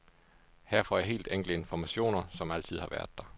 Her får jeg helt enkle informationer, som altid har været der.